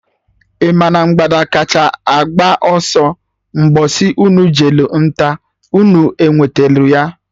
Ị ma na mgbada kacha agba ọsọ Mgbosi unu jelụ nta, unu enwetelụ ya?